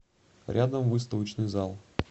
рядом выставочный зал